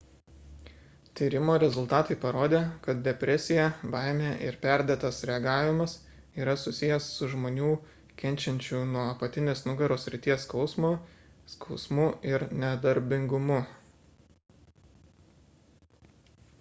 tyrimo rezultatai parodė kad depresija baimė ir perdėtas reagavimas yra susijęs su žmonių kenčiančių nuo apatinės nugaros srities skausmo skausmu ir nedarbingumu